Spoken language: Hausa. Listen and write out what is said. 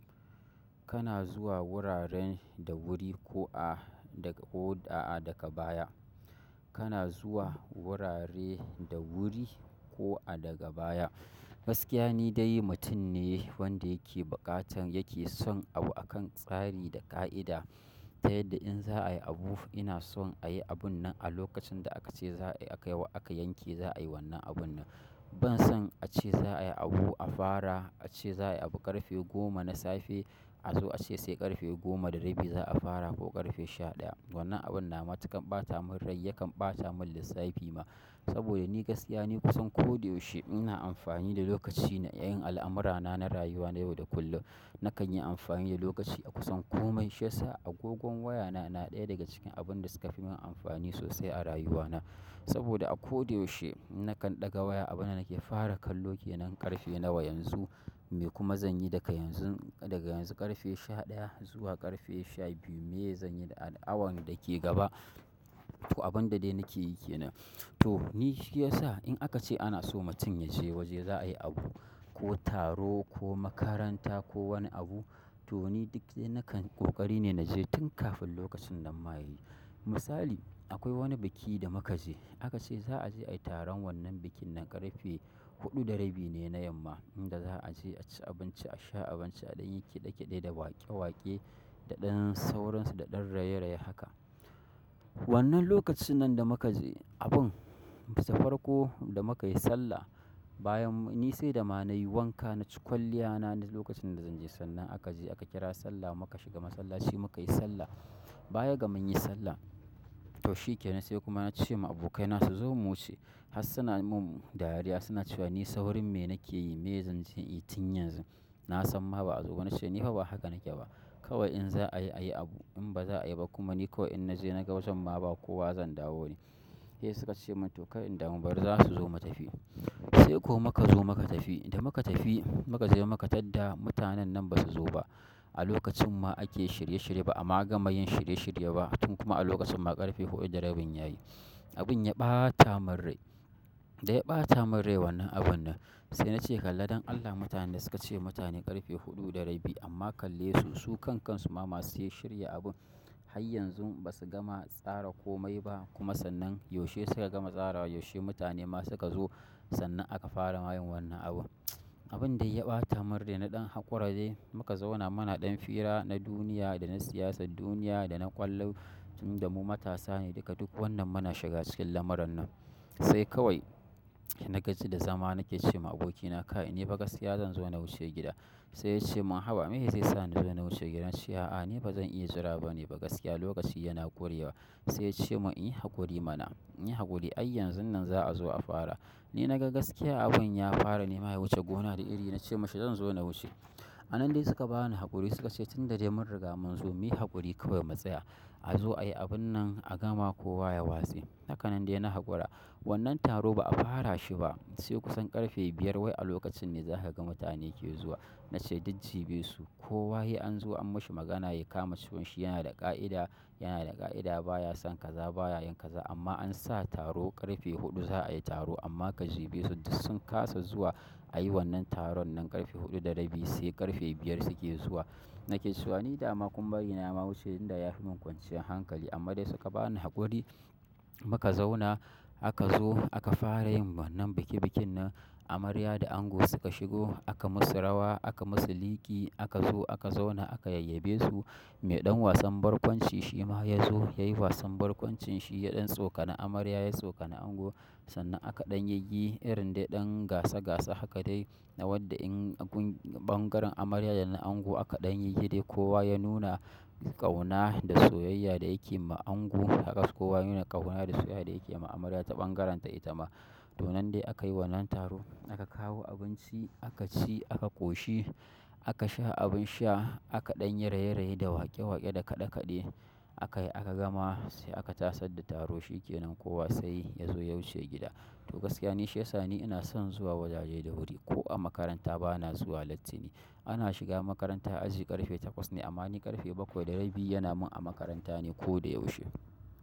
Kana zuwa wuraren da wuri ko a daga ko a daga baya. Kana zuwa wurare da wuri ko a daga baya. Gaskiya ni dai mutum ne wanda yake buƙatan yake son abu akan tsari da ƙa'ida. Ta yadda in za ayi abu ina son ayi abunnan a lokacin da aka ce za ayi akayi wa a yanke za'ayi abunnan ban son a ce za a yi abu a fara, a ce za a yi abu ƙarfe goma na safe, a zo a ce sai ƙarfe goma da rabi za a fara ko ƙarfe sha ɗaya. Wannan abun na matuƙan ɓata min rai, yakan ɓata min lissafi ma. Saboda ni gaskiya ni kusan koda yaushe ina amfani da lokaci na yin al'amurana na rayuwa na yau da kullum. Nakan yi amfani da lokaci a kusan kome. Shi yasa agogon wayana na ɗaya daga cikin abin da suka fi min amfani sosai a rayuwana. Saboda a koda yaushe in nakan ɗaga waya abunda nake fara kallo kenan ƙarfe nawa yanzu, me kuma zanyi daga yanzun daga yanzu ƙarfe sha ɗaya zuwa ƙarfe sha biyu. Me zan yi a awan da ke gaba, toh abun da dai nake yi kenan to ni shi yasa in aka ce ana so mutum ya je waje za a yi abu ko taro ko makaranta ko wani abu, to ni duk dai nakan ƙoƙari ne na je tun kafin lokacin nan ma ya yi. Misali akwai wani biki da muka je. Aka ce za a je a yi taron wannan bikin nan ƙarfe huɗu da rabi ne na yamma inda za a je a ci abinci, a sha abinci, a ɗan yi kiɗe-kiɗe da waƙe-waƙe daɗen sauransu daɗen raye-raye haka. Wannan lokacin nan da muka je abun, safar ko da muka yi sallah bayan ni sai da ma na yi wanka na ci kwalliya na lokacin da zan je sannan aka je aka kira sallah muka shiga masallaci muka yi sallah. Bayaga mun yi sallah, to shi kenan sai kuma na ce wa abokaina su zo mu wuce. Hassuna mun dariya suna cewa ni saurin me nake yi, me zan je inyi tun yanzu. Na san ma ba a zo ba na ce ni fa ba haka nake ba. Kawai in za a yi, a yi abu. In ba za a yi ba kuma ni ko in na je na ga wajan ma ba kowa zan dawo ne. Sai suka ce min to kar in da mu bari za su zo mu tafi. Sai ko muka zo muka tafi. Da muka tafi muka je muka tadda mutanen nan ba su zo ba. A lokacin ma ake shirye-shirye ba amma ba gama yin shirye-shirye ba tun kuma a lokacin ma ƙarfe huɗu da rabin ya yi. Abun ya ɓata min rai. Da ya ɓata min rai wannan abun nan. Sai na ce kalla don Allah mutanen da suka ce mutane ƙarfe huɗu da rabi amma kalle su su kan kansu ma ba su yi shirya abun. Har yanzu ba su gama tsara komai ba kuma sannan yaushe suka gama tsara wa yaushe mutane ma suka zo sannan aka fara maye wannan abun. Abun dai ya ɓata min rai na ɗan hakura dai muka zauna muna ɗan fira na duniya da na siyasar duniya da na ƙwallo tun da mu matasa ne daga duk wannan muna shiga cikin lamaran nan. Sai kawai nagaji da zama nake ce ma abokina kai ni fa gaskiya zan zo na wuce gida. Sai ya ce mun haba me ya zai sana zo na wuce gidan shi. A'a ni ba zan iya jira ba ne ba gaskiya lokaci yana ƙuryewa. Sai ya ce mun inyi haƙuri mana, inyi haƙuri ai yanzun nan za a zo a fara. Ni na ga gaskiya abun ya fara nema ya wuce gona da iri na ce mashi zan zo na wuce. A nan dai suka ba ni haƙuri suka ce tun da dai mun riga mun zo muyi haƙuri kawai mu tsaya. A zo a yi abun nan a gama kowa ya watse. Haka nan dai na hakura. Wannan taro ba a fara shi ba. Sai kusan ƙarfe biyar wai a lokacin ne za ka ga mutane ke zuwa. Na ce duk jiɓesu. Kowa he an zo an mashi magana ya kama ce wan shi yana da ƙa'ida, yana da ƙa'ida baya son kaza baya yin kaza amma an sa taro ƙarfe huɗu za a yi taro amma ka jiɓesu duk sun ƙasa zuwa a yi wannan taron nan ƙarfe huɗu da rabi sai ƙarfe biyar suke zuwa. Nake cewa ni dama kun bari na ma wuce inda ya fi min kwanciyar hankali amma dai suka bani haƙuri muka zauna aka zo aka fara yin wannan bikin bikin nan. Amarya da ango suka shigo aka musu rawa aka musu liƙi aka zo aka zauna aka yayye be su. Me ɗan wasan barkwanci shi ma ya zo ya yi wasan barkwancin shi ya ɗan tsokana amarya ya tsokana ango sannan aka ɗan yayi irin dai ɗan gasa-gasa haka dai na wadda in bangaren amarya da na ango aka ɗan yiyi dai kowa ya nuna ƙauna da soyayya da yakeyi ma ango haka su kowa ya nuna ƙauna da soyayya da yakeyi ma amarya ta bangarenta itama to nan dai aka yi wannan taro. Aka kawo abunci aka ci aka koshi aka sha abin sha aka ɗan yi raye-raye da waƙe-waƙe da kaɗe-kaɗe aka yi aka gama sai aka tasad da taro shi ke nan kowa sai ya zo ya wuce gida. To gaskiya ni shi yasa ni ina son zuwa wajaje da wuri ko a makaranta ba na zuwa latti ne. Ana shiga makaranta aji ƙarfe takwas ne amma ni ƙarfe bakwai da rabi yana mun a makaranta ne koyaushe.